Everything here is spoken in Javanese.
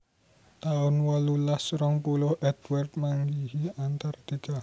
taun wolulas rong puluh Edward manggihi Antartika